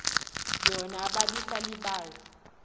yona ababi salibazi